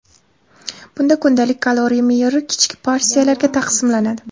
Bunda kundalik kaloriya me’yori kichik porsiyalarga taqsimlanadi.